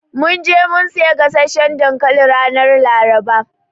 Mun je mun siya gasasshan dankali ranar Laraba.